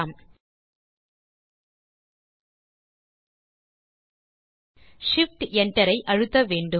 shift enter ஐ அழுத்த வேண்டும்